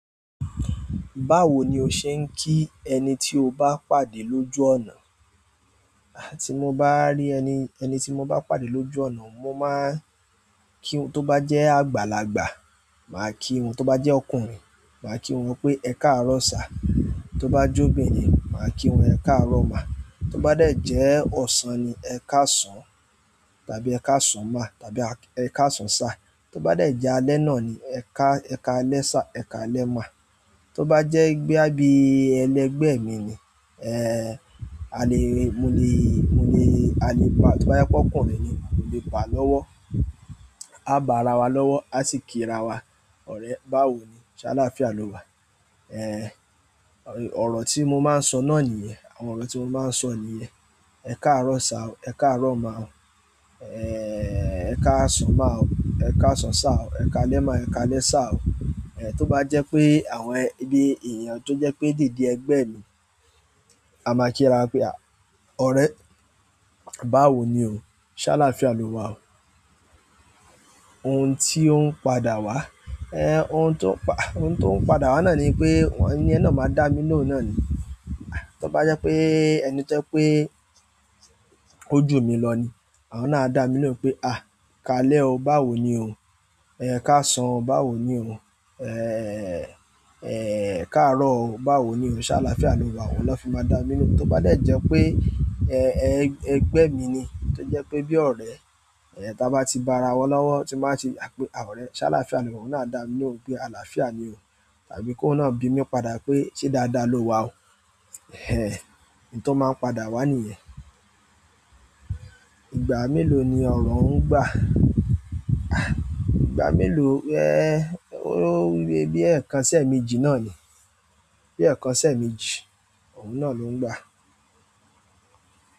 Báwo ni o ṣe ń kí ẹni tí o bá pàdé lójú ọ̀nà? Tí mo bá rí ẹni, ẹni tí mo bá pàdé lójú ọ̀nà, mo máa kí won tó bá jẹ́ àgbàlagbà, màá kí wọn. Tó bá jẹ́ ọkùnrin, màá kí wọn pé "ẹ káàárọ̀ sá". Tó bá jo bìnrin, màá kí wọn "ẹ káàárọ̀ má". Tó bá jẹ́ ọ̀sán ni, "ẹ káàsán" tàbí "ẹ káàsán má" tàbí "ẹ káàsán sir". Tó bá de jẹ́ alẹ́ náà ni, "ẹ ká, ẹ káàlẹ́ sir", "ẹ káàlẹ́ má". Tó bá jẹ́ i boya bí ẹlẹgbẹ́ mi ni, eh alè, mo le, mo le, a lè pa, tó bá jẹ́ pé ọkùnrin ni, mò lè ba lọ́wọ́. A bá ra wa lọ́wọ́, a sì kí ra wa. Ọ̀rẹ́, báwo ni, ṣá lááfíà lọ́'wà? Eh, oro ti mo maa n so náà niyen. Àwọn ọ̀rọ̀ tí mo máa ń sọ nìyẹn. "Ẹ káàárọ̀ sá o", "Ẹ káàárọ̀ má o", eh "Ẹ káàsán má o", "Ẹ káàsán sá o", "Ẹ káàlẹ́ má o", "Ẹ káàlẹ́ sá o". Eh tó bá jẹ́ pé àwọn eh, bí, èèyàn tó jẹ́ pé dede ẹgbẹ́ mi, a máa kí ra pé a, "ọ̀rẹ́, báwo ni o? Ṣá lááfíà lọ́'wà o". Ohun tí ó ń padà wá, eh ohun tó ń pa, ohun tó ń padà wá náà ni pé wọ́n, ẹniyen náà máa dá mí lóhùn náà ni. Tó bá jẹ́ pé ẹni jẹ́ pé ó jù mí lọ ni, àwọn náà á dá mí lóhùn pé "a! Káàlẹ́ o, báwo ni o?" Eh "káàsán o, báwo ni o?" Eh, eh "káàárọ̀ o, báwo ni o? Ṣá lááfíà lọ́'wà o". Oun náà fi ma dami lohun to ba de je pe, eh, eh, egbe mi ni, to je pe bi ọ̀rẹ́ ta ba ti ba ra wa lowo ti n ba ti a pe ọ̀rẹ́ se alafia lowa oun náà a dami lohun pe alafia ni o tàbí kó oun náà bi mí padà pé "ṣé dáadáa ló wà o?" eh, n to maa n padà wa niyen. Ìgbà mélòó ni ọ̀rọ̀ ń gbà? Ah ìgbà mélòó? Eh ó rí bí ẹẹkan sí ẹ̀ẹ̀mejì náà ni. Bí ẹẹkan sí ẹ̀ẹ̀mejì, òun náà ló ń gbà.